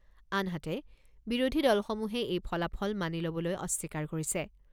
আনহাতে, বিৰোধী দলসমূহে এই ফলাফল মানি ল'বলৈ অস্বীকাৰ কৰিছে।